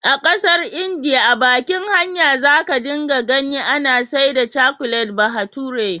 A ƙasar India a bakin hanya za ka dinga ganin ana saida cakulet bahature,.